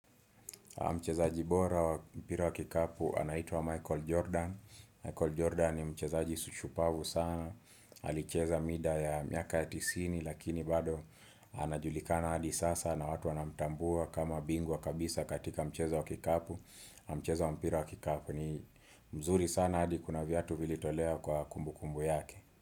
Mchezaji bora wa mpira wa kikapu anaitwa Michael Jordan. Michael Jordan ni mchezaji shupavu sana. Alicheza mida ya miaka ya tisini lakini bado anajulikana hadi sasa na watu wanamtambua kama bingwa kabisa katika mchezo wa kikapu. Mchezo wa mpira wa kikapu ni mzuri sana hadi kuna viatu vilitolewa kwa kumbukumbu yake.